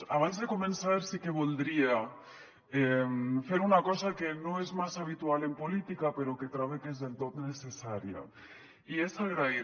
abans de començar sí que voldria fer una cosa que no és massa habitual en política però que trobe que és del tot necessària i és agrair